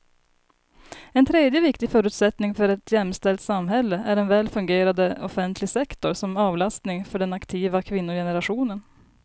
En tredje viktig förutsättning för ett jämställt samhälle är en väl fungerande offentlig sektor som avlastning för den aktiva kvinnogenerationen.